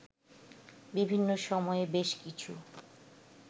বিভিন্ন সময়ে বেশ কিছু